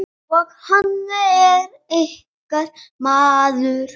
Og hann er ykkar maður.